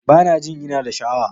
Bana jin ina da sha'awa.